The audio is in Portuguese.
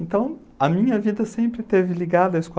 Então a minha vida sempre esteve ligada à escola.